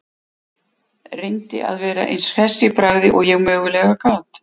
Reyndi að vera eins hress í bragði og ég mögulega gat.